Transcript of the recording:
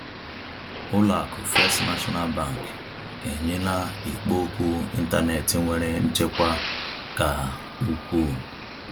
Ụlọ akụ First National Bank enyela ikpo okwu ịntanetị nwere nchekwa ka ukwuu.